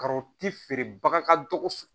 feere baga ka dɔgɔ